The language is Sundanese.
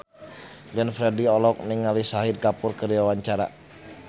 Glenn Fredly olohok ningali Shahid Kapoor keur diwawancara